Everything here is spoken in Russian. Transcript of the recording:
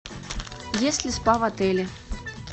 есть ли спа в отеле